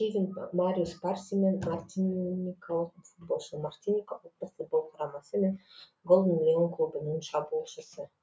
кевин мариус парсемен мартиникалық футболшы мартиника ұлттық футбол құрамасы мен голден лион клубының шабуылшысы